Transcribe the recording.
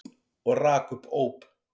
Og rak upp óp.